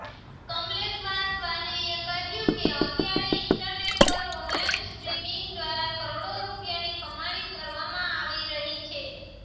કમલેશવાસવાનીએ કહ્યું અત્યારે ઇન્ટરનેટ પર ઓનલાઇન સ્ટ્રીમિંગ દ્વારા કરોડો રૂપિયાની કમાણી કરવામાં આવી રહી છે